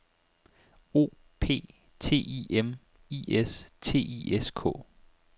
O P T I M I S T I S K